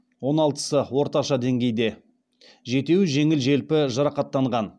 он алтысы орташа деңгейде жетеуі жеңіл желпі жарақаттанған